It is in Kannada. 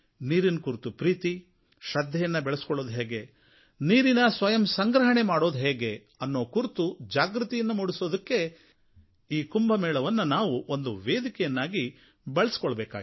ನೀರಿನ ಕುರಿತು ಪ್ರೀತಿ ಶ್ರದ್ಧೆಯನ್ನು ಬೆಳೆಸಿಕೊಳ್ಳುವುದು ಹೇಗೆ ನೀರಿನ ಸ್ವಯಂಸಂಗ್ರಹಣೆ ಮಾಡುವುದು ಹೇಗೆ ಎನ್ನುವ ಕುರಿತು ಜಾಗೃತಿಯನ್ನು ಮೂಡಿಸಲು ಈ ಕುಂಭಮೇಳವನ್ನು ನಾವು ಒಂದು ವೇದಿಕೆಯನ್ನಾಗಿ ಬಳಸಿಕೊಳ್ಳಬೇಕಾಗಿದೆ